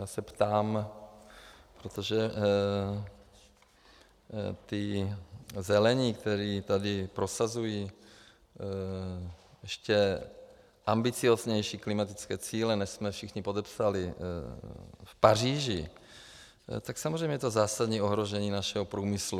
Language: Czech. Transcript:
Já se ptám, protože ti zelení, kteří tady prosazují ještě ambicióznější klimatické cíle, než jsme všichni podepsali v Paříži, tak samozřejmě je to zásadní ohrožení našeho průmyslu.